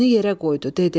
Üzünü yerə qoydu, dedi: